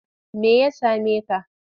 Me ya same ka?